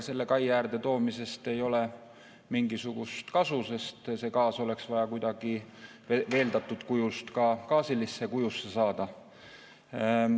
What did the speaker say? Selle kai äärde toomisest ei ole mingisugust kasu, sest see gaas oleks vaja kuidagi veeldatud kujust gaasilisse kujusse saada.